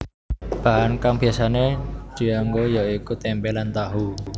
Bahan kang biasané dianggo ya iku tempe lan tahu